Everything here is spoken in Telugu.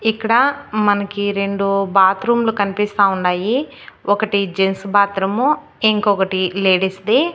ఇక్కడా మనకి రెండు బాత్రూంలు కనిపిస్తా ఉండాయి. ఒకటి జెంట్స్ బాత్రూము ఇంకొకటి లేడీస్ ది.